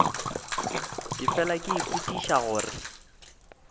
ke fela ke ipotšiša gore